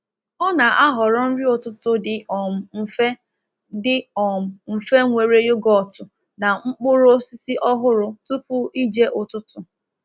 Ọ na-ahọrọ nri ụtụtụ dị um mfe dị um mfe nwere yogotu na mkpụrụ osisi ọhụrụ tupu ije ụtụtụ.